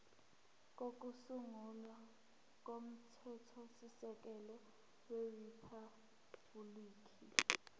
kokusungula komthethosisekelo weriphabhuliki